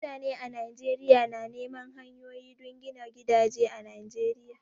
Mutane a Najeriya na neman hanyoyi don gina gidaje a Najeriya